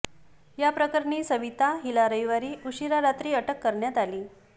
याप्रकरणी सविता हिला रविवारी उशिरा रात्री अटक करण्यात आली